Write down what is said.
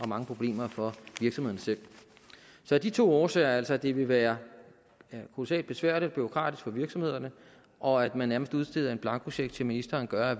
mange problemer for virksomhederne selv så de to årsager altså at det vil være kolossalt besværligt og bureaukratisk for virksomhederne og at man nærmest udsteder en blankocheck til ministeren gør